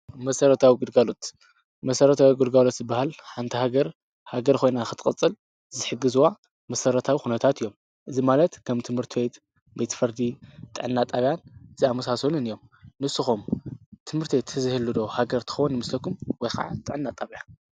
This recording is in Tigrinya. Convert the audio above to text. መሰረታዊ ግልጋሎት-መሰረታዊ ግልጋሎት ዝበሃል ሓንቲ ሃገር ሃገር ኮይና ክትቅፅል ዝሕግዝዋ መሰረታዊ ኩነታት እዮም:: እዚ ማለት ከም ትምህርቲ ቤት ፡ቤት ፍርዲ ፡ጥዕና ጥብያ ዝኣመሳሰሉን እዮም ንስኩም ትምርቲ ተዘይህሉ ዶ ሃገር ትከዉን ይመስለኩም ወይ ከዓ ጥዕና ጣብያ ?